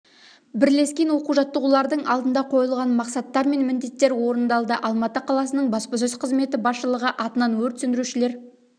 бірлескен оқу-жаттығулардың алдында қойылған мақсаттар мен міндеттер орындалды алматы қаласының баспасөз қызметі басшылығы атынан өрт сөндірушілер